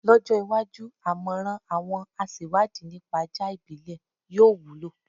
Lọ́jọ́ iwájú, àmọ̀ràn àwọn aṣewádìí nípa ajá ìbílẹ̀ yóò wúlò.